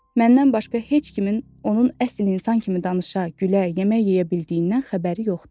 Məndən başqa heç kimin onun əsl insan kimi danışa, gülə, yemək yeyə bildiyindən xəbəri yoxdur.